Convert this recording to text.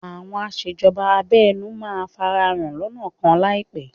Àwọn aṣèjọba abẹ́nú máa farahàn lọ́nà kan láìpẹ́